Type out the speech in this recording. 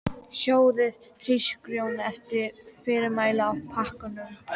Sjóðið hrísgrjónin eftir fyrirmælum á pakkanum.